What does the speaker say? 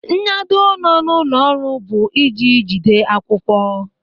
Nyado nọ n'ụlọ ọrụ bụ ịji jide akwụkwọ.